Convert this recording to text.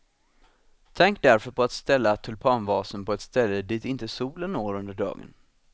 Tänk därför på att ställa tulpanvasen på ett ställe dit inte solen når under dagen.